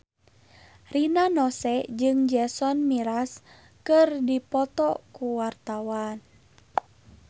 Rina Nose jeung Jason Mraz keur dipoto ku wartawan